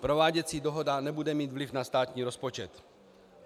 Prováděcí dohoda nebude mít vliv na státní rozpočet.